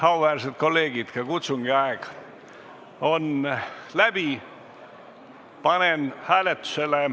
Auväärsed kolleegid, kutsungi aeg on läbi.